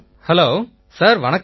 hello sir வணக்கம்